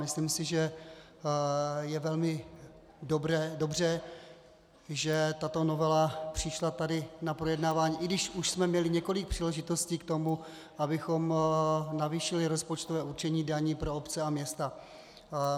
Myslím si, že je velmi dobře, že tato novela přišla tady na projednávání, i když už jsme měli několik příležitostí k tomu, abychom navýšili rozpočtové určení daní pro obce a města.